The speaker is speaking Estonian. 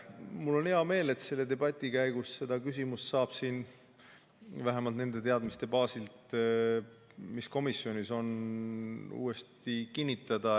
Mul on hea meel, et selle debati käigus seda küsimust saab siin vähemalt nende teadmiste baasil, mis komisjonil on, uuesti kinnitada.